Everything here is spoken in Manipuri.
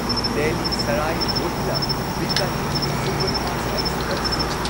Delhi Sarai Rohilla Bikaner superfast express